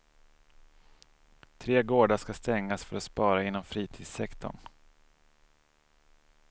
Tre gårdar ska stängas för att spara inom fritidssektorn.